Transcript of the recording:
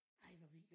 Ej hvor vildt